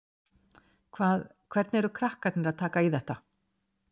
Hvað, hvernig eru krakkarnir að taka í þetta?